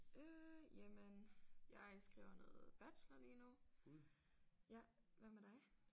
Øh jamen jeg skriver noget bachelor lige nu. Ja hvad med dig?